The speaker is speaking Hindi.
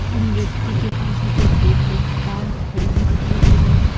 उन व्यक्ति के पास में एक रेड कलर की कार खड़ी हुई दिखाई दे रही है।